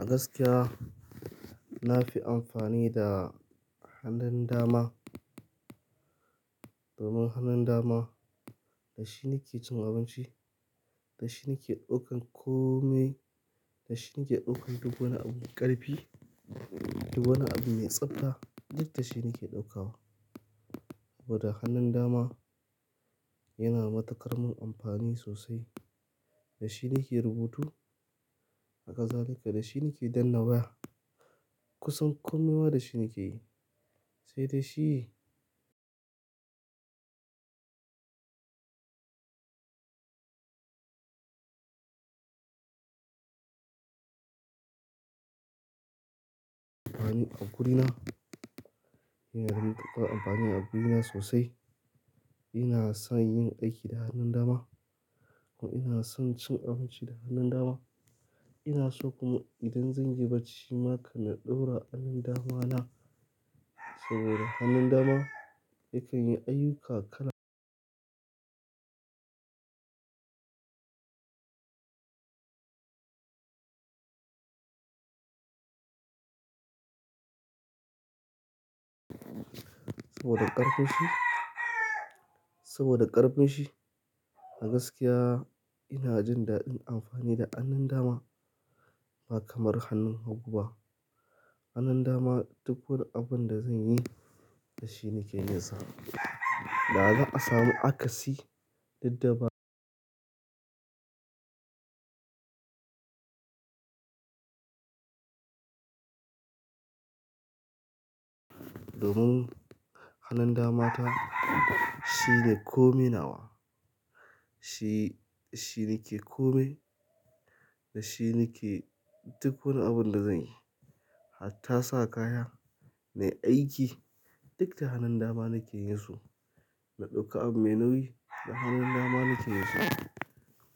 A gaskiya na fi amfani da hannun dama. Domin hannun dama da shi nake cin abinci, da shi nake ɗaukan kome, da shi nake ɗaukan duk wani abu ƙarfi, duk wani abu mai tsabta duk da shi nake ɗaukawa. Saboda hannun dama yana matuƙar min amfani sosai. Da shi nake rubutu, haka zalika da shi nake danna waya. Kusan komai ma da shi nake yi, sai da shi amfani a guri na. Ina rinka amfani a guri na sosai. Ina son yin aiki da hannun dama kuma ina son cin abinci da hannun dama. Ina so kuma idan zan yi barci ma kana ɗaura hannun dama na. Saboda hannun dama yakan yi aiyuka kala saboda ƙarfin shi, saboda ƙarfin shi. A gaskiya ina jin daɗin amfani da hannun dama ba kamar hannun hagu ba. Hannun dama duk wani abun da zan yi da shi nake yin sa. Da za a samu akasi daddaba domin hannun dama ta shine kome nawa. Shi, shi nake kome, da shi nake duk wani abun da zan yi. Hatta sa kaya, na aiki duk da hannun dama nake yin su. Na ɗauka abu mai nauyi da hannun dama nake yin su.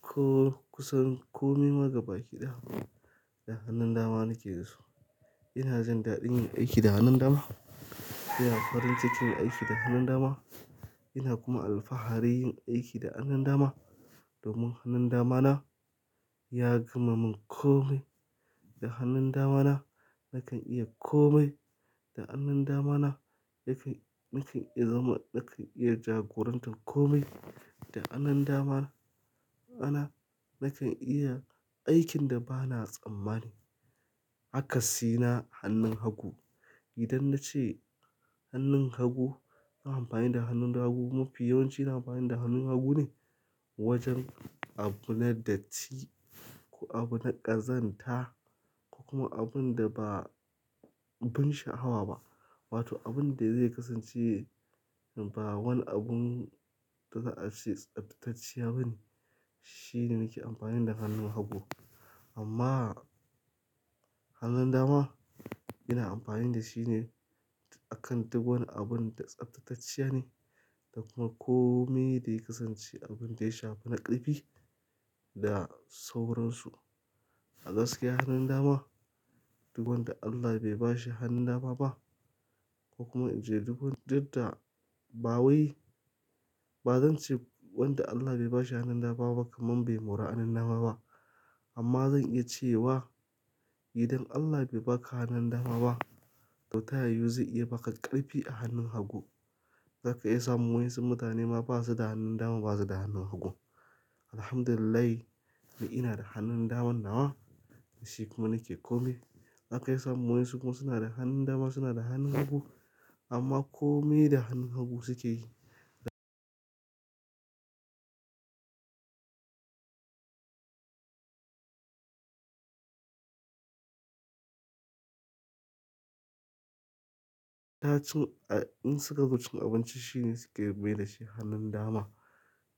Ko kusan kome ma gaba kiɗaya da hannun dama nake yinsu. Ina jin daɗin yin aiki da hannun dama. Ina farin ciki yin aiki da hannun dama. Ina kuma alfahari yin aiki da hannun dama. Domin hannun dama na ya gama mun kome. Da hannun dama na nakan iya kome. Da hannun dama na nakan, nakan iya zama, nakan iya jagorantar kome. Da hannun dama na, nakan iya aikin da ba na tsammani. Akasi na hannun hagu. Idan na ce hannun hagu, ina amfani da hannun hagu mafi yawanci ina amfani da hannun hagu ne wajen abu na datti, ko abu na ƙazanta ko kuma abun da ba bin sha'awa ba. Wato abun da zai kasance ba wani abun da za a ce tsaftatacciya bane. Shi ne nake amfani da hannun hagu. Amma hannun dama ina amfani da shi ne akan duk wani abun da tsaftatacciya ne. Da kuma kome da ya kasance abun da ya shafi na ƙarfi da sauransu. A gaskiya hannun dama duk wanda Allah bai ba shi hannun dama ba ko kuma idan duk, duk da ba wai ba zan ce wanda Allah bai ba shi hannun dama ba kamar bai mora hannun dama ba. Amma zan iya ce wa idan Allah bai baka hannun dama ba to ta yiyu zai iya baka ƙarfi a hannun hagu. Zaka iya samun wasu mutane ma basu da hannun dama basu da hannun hagu. Alhamdulillah ni ina da hannun daman nawa. Da shi kuma nake kome. Zaka iya samun wayansu kuma suna da hannun dama suna da hannun hagu amma kome da hannun hagu suke yi. Ta cin, in suka zo cin abinci shine suke bai da shi hannun dama.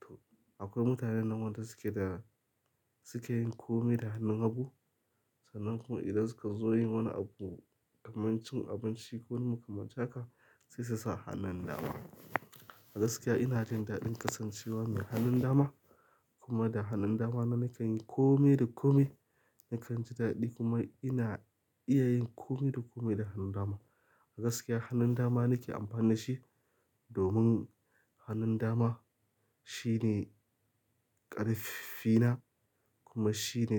To akwai mutane nan wanda suke da, suke yin kome da hannun hagu. Sannan kuma idan suka zo yin wani abu kaman cin abinci ko wani makamancin haka sai su sa hannun dama. A gaskiya ina jin daɗin kasancewa mai hannun dama. Kuma da hannun dama na nakan yi kome da kome. Nakan ji daɗi kuma ina iya yin kome da kome da hannun dama. A gaskiya hannun dama nake amfani da shi domin hannun dama shine ƙarfina kuma shine.